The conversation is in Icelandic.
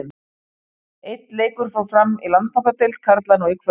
Einn leikur fór fram í Landsbankadeild karla nú í kvöld.